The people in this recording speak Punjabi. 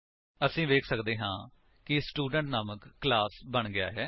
ਅਸੀ ਵੇਖ ਸੱਕਦੇ ਹਾਂ ਕਿ ਸਟੂਡੈਂਟ ਨਾਮਕ ਕਲਾਸ ਬਣ ਗਿਆ ਹੈ